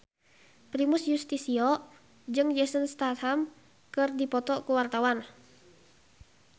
Primus Yustisio jeung Jason Statham keur dipoto ku wartawan